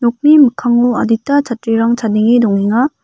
nokni mikkango adita chatrirang chadenge dongenga.